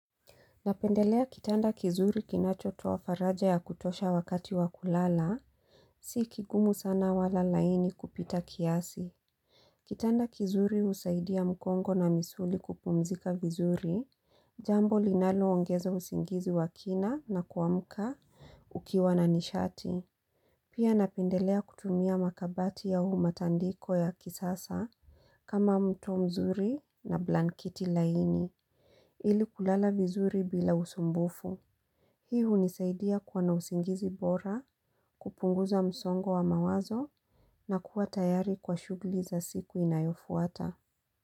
Napendelea kitanda kizuri kinachoto wa faraja ya kutosha wakati wa kulala, si kigumu sana wala laini kupita kiasi. Kitanda kizuri usaidia mkongo na misuli kupumzika vizuri, jambo linalo ongezo usingizi wa kina na kuamuka ukiwa na nishati. Pia napendelea kutumia makabati ya umatandiko ya kisasa kama mto mzuri na blankiti laini, ili kulala vizuri bila usumbufu. Hii hunisaidia kwa nausingizi bora, kupunguza msongo wa mawazo na kuwa tayari kwa shuguli za siku inayofuata.